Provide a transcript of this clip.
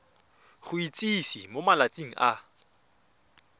go itsise mo malatsing a